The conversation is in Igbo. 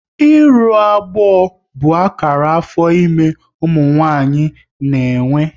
Ịrụ agbọ bụ akara afọ ime ụmụ nwaanyị na-enwe